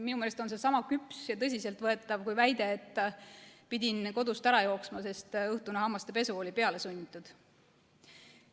Minu meelest on see sama küps ja tõsiseltvõetav kui väide, et pidin kodust ära jooksma, sest õhtune hammastepesu oli pealesunnitud.